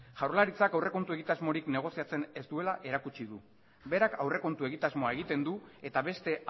jaurlaritzak aurrekontu egitasmorik negoziatzen ez duela erakutsi du berak aurrekontu egitasmoa egiten du eta beste